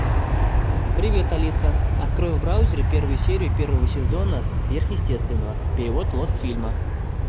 привет алиса открой в браузере первую серию первого сезона сверъестественного перевод лостфильма